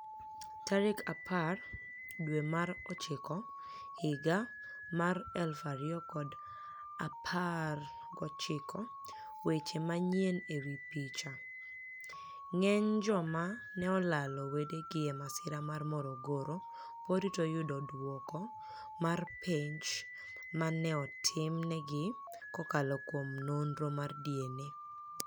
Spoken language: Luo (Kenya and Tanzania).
Tarik apar dwe mar ochiko higa 2019 Weche Maniyieni e wi picha, nig'eniy joma ni e olalo wedegi e masira mar Morogoro pod rito yudo dwoko mar penij ma ni e otimni egi kokalo kuom noniro mar DniA.